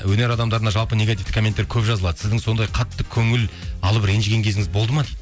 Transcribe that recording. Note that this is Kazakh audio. өнер адамдарына жалпы негативті комменттер көп жазылады сіздің сондай қатты көңіл алып ренжіген кездеріңіз болды ма дейді